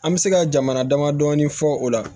An bɛ se ka jamana damadɔni fɔ o la